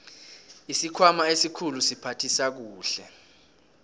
isikhwama esikhulu siphathisa kuhle